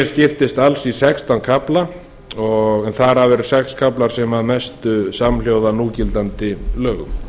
skiptist alls í sextán kafla en þar af eru sex kaflar sem eru að mestu samhljóða núgildandi lögum